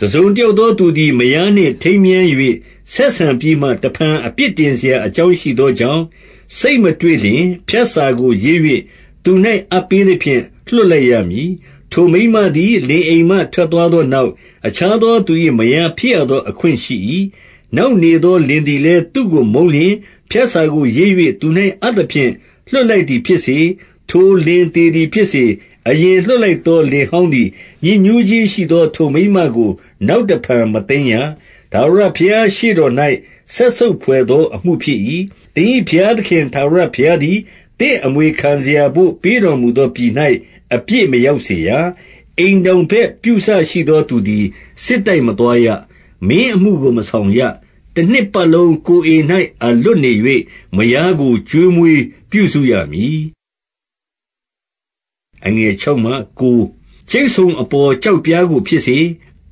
တစုံတယောက်သောသူသည် မယားနှင့်ထိမ်း မြား၍ ဆက်ဆံပြီးမှ တဖန် အပြစ်တင်စရာ အကြောင်း ရှိသောကြောင့် စိတ်မတွေ့လျှင်၊ ဖြတ်စာကို ရေး၍ သူ၌ အပ်ပေးသဖြင့် လွှတ်လိုက်ရမည်။ 2 ထိုမိန်းမသည် လင်အိမ်မှထွက်သွားသော နောက်၊ အခြားသော သူ၏မယား ဖြစ်ရသောအခွင့်ရှိ၏။ 3 နောက်နေသောလင်သည်လည်း သူ့ကိုမုန်းလျှင်၊ ဖြတ်စာကို ရေး၍ သူ၌အပ်သဖြင့် လွှတ်လိုက်သည် ဖြစ်စေ၊ ထိုလင်သေသည်ဖြစ်စေ၊ 4 အရင်လွှတ်လိုက်သော လင်ဟောင်းသည် ညစ်ညူးခြင်းရှိသော ထိုမိန်းမကို နောက်တဖန်မသိမ်းရ။ ထာဝရဘုရားရှေ့တော်၌ စက်ဆုပ်ဘွယ်သောအမှုဖြစ် ၏။ သင်၏ဘုရားသခင် ထာဝရဘုရားသည် သင့်အမွေခံ စရာဘို့ ပေးတော်မူသောပြည်၌ အပြစ်မရောက်စေရ။ 5 အိမ်ထောင်ဘက်ပြုစရှိသောသူသည် စစ်တိုက် မသွားရ။ မင်းအမှုကို မဆောင်ရ။ တနှစ်ပတ်လုံး ကိုယ်အိမ်၌ မလွတ်နေ၍ မယားကို ကျွေးမွေးပြုစုရမည်။ 6 ကြိတ်ဆုံအပေါ် ကျောက်ပြားကို ဖြစ်စေ၊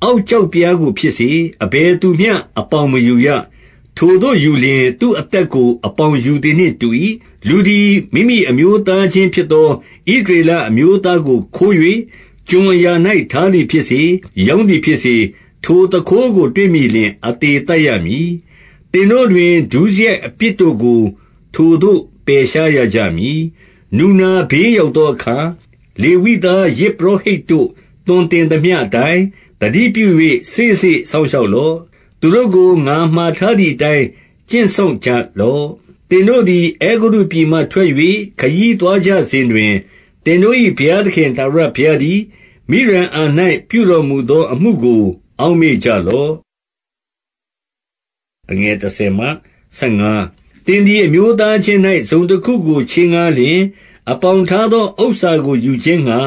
အောက်ကျောက်ပြားကို ဖြစ်စေ၊ အဘယ်သူမျှ အပေါင် မယူရ။ ထိုသို့ယူလျှင်၊ သူ့အသက်ကို အပေါင်ယူသည်နှင့် တူ၏။ 7 လူသည် မိမိအမျိုးသားချင်းဖြစ်သော ဣသရေ လအမျိုးသားကို ခိုး၍ ကျွန်အရာ၌ ထားသည်ဖြစ်စေ၊ ရောင်းသည်ဖြစ်စေ၊ ထိုသူခိုးကို တွေ့မိလျှင် အသေသတ် ရမည်။ သင်တို့တွင် ဒုစရိုက်အပြစ်ကို ထိုသို့ ပယ်ရှားရကြ မည်။ 8 နူနာဘေးရောက်သောအခါ၊ လေဝိသား ယဇ် ပုရောဟိတ်တို့ သွန်သင်သမျှအတိုင်း သတိပြု၍ စေ့စေ့ စောင့်ရှောက်လော့။ သူတို့ကို ငါမှာထားသည်အတိုင်း ကျင့်စောင့်ကြလော့။ 9 သင်တို့သည် အဲဂုတ္တုပြည်မှထွက်၍ ခရီးသွားကြ စဉ်တွင်၊ သင်တို့၏ဘုရားသခင် ထာဝရဘုရားသည်၊ မိရိအံ၌ ပြုတော်မူသောအမှုကို အောက်မေ့ကြလော့။ 10 သင်သည် အမျိုးသားချင်း၌ တစုံတခုကို ချေး ငှားလျှင်၊ အပေါင်ထားသောဥစ္စာကို ယူခြင်းငှာ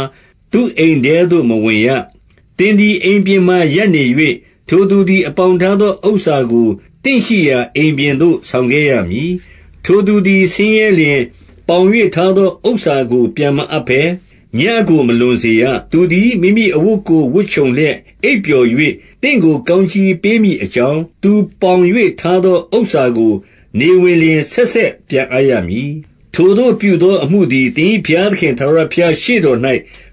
သူ့အိမ်ထဲ သို့ မဝင်ရ။ 11 သင်သည် အိမ်ပြင်မှာရပ်နေ၍၊ ထိုသူသည် အပေါင်ထားသော ဥစ္စာကို သင့်ရှိရာအိမ်ပြင်သို့ ဆောင်ခဲ့ ရမည်။ 12 ထိုသူသည် ဆင်းရဲလျှင်၊ ပေါင်၍ထားသော ဥစ္စာကို ပြန်မအပ်ဘဲ ညဉ့်ကိုမလွန်စေရ။ 13 သူသည် မိမိအဝတ်ကို ဝတ်ခြုံလျက် အိပ်ပျော်၍ သင့်ကိုကောင်းကြီးပေးမည် အကြောင်း၊ သူပေါင်၍ထား သော ဥစ္စာကို နေဝင်လျှင် ဆက်ဆက်ပြန်အပ်ရမည်။ ထိုသို့ပြုသော အမှုသည် သင်၏ဘုရားသခင် ထာဝရ ဘုရားရှေ့တော်၌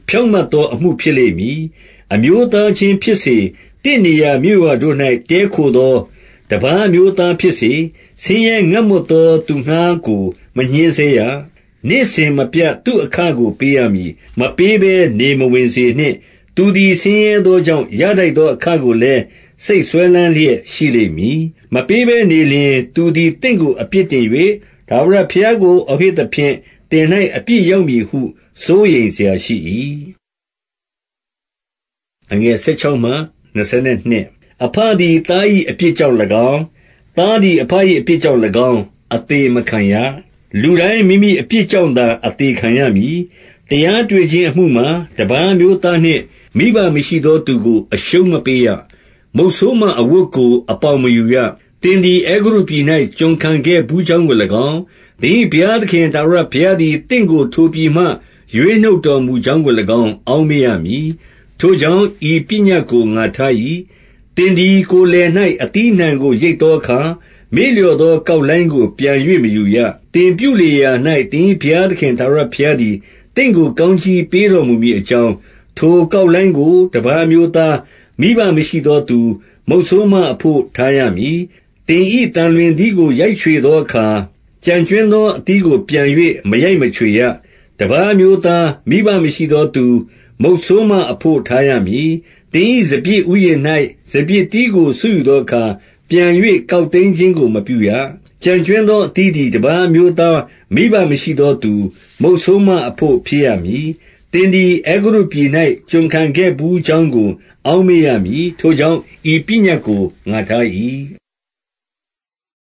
ဖြောင့်မတ်သောအမှု ဖြစ်လိမ့်မည်။ 14 အမျိုးသားချင်းဖြစ်စေ၊ သင့်နေရာမြို့ရွာတို့၌ တည်းခိုသော တပါးအမျိုးသားဖြစ်စေ၊ ဆင်းရဲငတ်မွတ် သောသူငှားကို မညှဉ်းဆဲရ။ 15 နေ့စဉ်မပြတ် သူ့အခကို ပေးရမည်။ မပေးဘဲ နေမဝင်စေနှင့်။ သူသည် ဆင်းရဲသောကြောင့် ရထိုက် သော အခကိုလည်း စိတ်စွဲလမ်းလျက် ရှိလိမ့်မည်။ မပေးဘဲနေလျှင် သူသည် သင့်ကို အပြစ်တင်၍ ထာဝရ ဘုရားကို အော်ဟစ်သဖြင့် သင်၌ အပြစ်ရောက်မည်ဟု စိုးရိမ်စရာရှိ၏။ 16 အဘသည် သား၏အပြစ်ကြောင့်၎င်း၊ သား သည် အဘ၏အပြစ်ကြောင့်၎င်း၊ အသေမခံရ။ လူတိုင်း မိမိအပြစ်ကြောင့်သာ အသေခံရမည်။ 17 တရားရှာတွေ့ခြင်းအမှုမှာ တပါးအမျိုးသားနှင့် မိဘမရှိသောသူကို အရှုံးမပေးရ။ မုတ်ဆိုးမအဝတ်ကို အပေါင်မယူရ။ 18 သင်သည် အဲဂုတ္တုပြည်၌ ကျွန်ခံခဲ့ဘူးကြောင်းကို ၎င်း၊ သင်၏ဘုရားသခင် ထာဝရဘုရားသည် သင့်ကို ထိုပြည်မှ ရွေးနှုတ်တော်မူကြောင်းကို၎င်း အောက်မေ့ရ မည်။ ထို့ကြောင့် ဤပညတ်ကို ငါထား၏။ 19 သင်သည် ကိုယ်လယ်၌ အသီးအနှံကို ရိတ် သောအခါ၊ မေ့လျော့သောကောက်လှိုင်းကို ပြန်၍ မယူရ။ သင်ပြုလေရာရာ၌ သင်၏ဘုရားသခင် ထာဝရဘုရား သည် သင့်ကို ကောင်းကြီးပေးတော်မူမည်အကြောင်း၊ ထိုကောက်လှိုင်းကို တပါးအမျိုးသား၊ မိဘမရှိသောသူ၊ မုတ်ဆိုးမအဘို့ ထားရမည်။ 20 သင်၏သံလွင်သီးကို ရိုက်ချွေသောအခါ၊ ကျန် ကြွင်းသောအသီးကို ပြန်၍ မရိုက်ချွေရ။ တပါးအမျိုး သား၊ မိဘမရှိသောသူ၊ မုတ်ဆိုးမအဘို့ ထားရမည်။ 21 သင်၏စပျစ်ဥယျာဉ်၌ စပျစ်သီးကို ဆွတ်ယူ သောအခါ ပြန်၍ ကောက်သိမ်းခြင်းကို မပြုရ။ ကျန်ကြွင်း သောအသီးသည် တပါးအမျိုးသား၊ မိဘမရှိသောသူ၊ မုတ်ဆိုးမအဘို့ ဖြစ်ရမည်။ 22 သင်သည် အဲဂုတ္တုပြည်၌ ကျွန်ခံခဲ့ဘူးကြောင်းကို အောက်မေ့ရမည်။ ထို့ကြောင့် ဤပညတ်ကို ငါထား၏။